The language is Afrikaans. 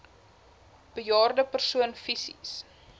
bejaarde persoon fisies